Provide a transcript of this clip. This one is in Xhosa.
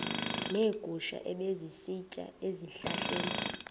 neegusha ebezisitya ezihlahleni